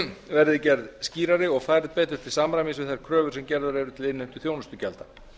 verði gerð skýrari og færð betur til samræmis við þær kröfur sem gerðar eru til innheimtu þjónustugjalda